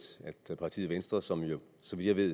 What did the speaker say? at partiet venstre som jo så vidt jeg ved